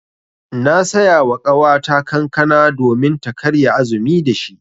Na saya wa ƙawata kankana domin ta karya azumi da shi.